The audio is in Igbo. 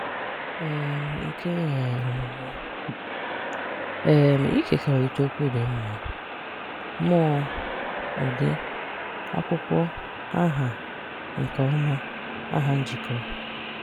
um Nke um Ọmụmụ: um Ịkekọrịta Okwu Dị Mma: Mụọ (ụdị), akwụkwọ (aha), nke ọma (aha njikọ).